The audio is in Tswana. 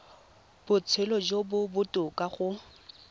botshelo jo bo botoka go